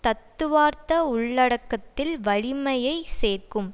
தத்துவார்த்த உள்ளடக்கத்தில் வலிமையை சேர்க்கும்